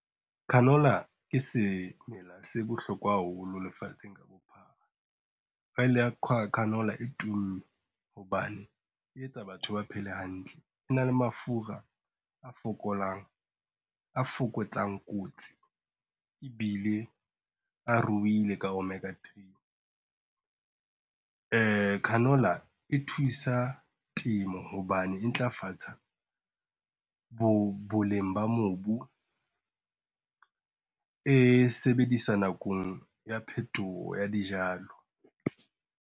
Canola ke semela se bohlokwa haholo lefatsheng ka bophara, oil ya canola e tumme hobane e etsa batho ba phele hantle. E na le mafura a fokolang, a fokotsang kotsi. Ebile a ruile ka omega three, canola e thusa temo hobane e ntlafatsa, boleng ba mobu, e sebediswa nakong ya phetoho ya dijalo.